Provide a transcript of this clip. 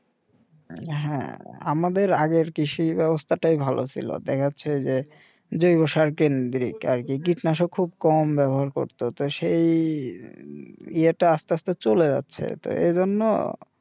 হ্যাঁ আমাদের আগের কৃষি ব্যবস্থাটাই ভালো ছিল দেখাচ্ছে যে জৈব সার কেন্দ্রিক আর কি কীটনাশক খুব কম ব্যবহার করত তো সেই ইয়েটা আস্তে আস্তে চলে যাচ্ছে তো এজন্য